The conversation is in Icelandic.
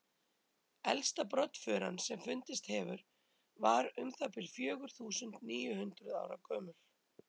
elsta broddfuran sem fundist hefur var um það bil fjögur þúsund níu hundruð ára gömul